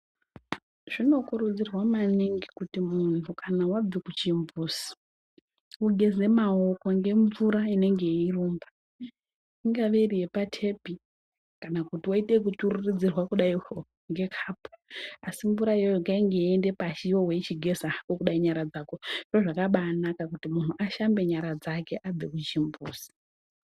Zvinokurudzirwa maningi kuti munhu kana wabve kuchimbuzi ugeze mawoko ngemvura inenge yeirumba I have iri yepa tepi kana woite yekuchururudzwirwa kudaio nekapu asi mvura iyoyo ngainge yeienda pashi iwewe weichigeza hako kudai nyara dzako zviro zvakabanaka kuti munhu ashambe nyara dzake above kuchimbuzi.